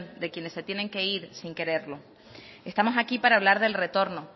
de quienes se tiene que ir sin quererlo estamos aquí para hablar del retorno